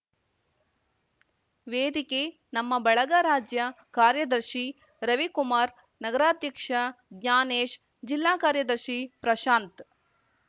ವೇದಿಕೆ ನಮ್ಮ ಬಳಗ ರಾಜ್ಯ ಕಾರ್ಯದರ್ಶಿ ರವಿಕುಮಾರ್‌ ನಗರಾಧ್ಯಕ್ಷ ಜ್ಞಾನೇಶ್‌ ಜಿಲ್ಲಾ ಕಾರ್ಯದರ್ಶಿ ಪ್ರಶಾಂತ್‌